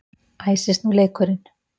Æsist nú leikurinn!